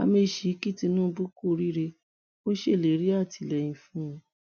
amaechi kí tinubu kú oríire ó ṣèlérí àtìlẹyìn fún un